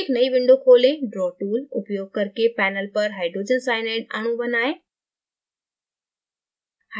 एक नयी window खोलें